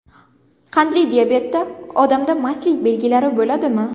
Qandli diabetda odamda mastlik belgilari bo‘ladimi?